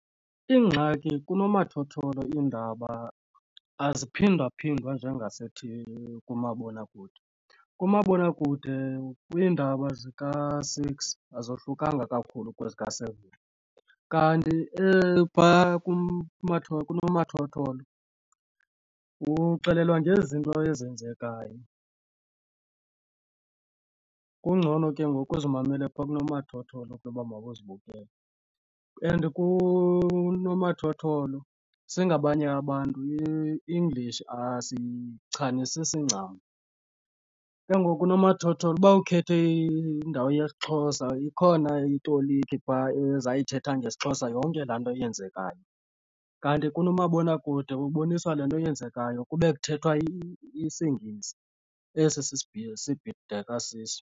Ingxaki kunomathotholo iindaba eziphindaphindwa njengasethivini kumabonakude. Kumabonakude kwiindaba zika-six azohlukanga kakhulu kwezika-seven kanti phaa kunomathotholo uxelelwa ngezinto ezenzekayo. Kungcono ke ngoku uzimamele phaa kunomathotholo ke uba mawuzibukele and kunomathotholo singabanye abantu iEnglish asiyichasanisisi ncam. Ke ngoku unomathotholo uba ukhethe indawo yesiXhosa ikhona itoliki phaa ezayithetha ngesiXhosa yonke laa nto yenzekayo. Kanti kunomabonakude uboniswa le nto eyenzekayo kube kuthethwa isiNgesi esi sibhideka siso.